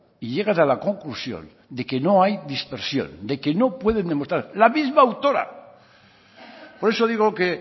y llegan a la conclusión de que no hay dispersión de que no pueden demostrar la misma autora por eso digo que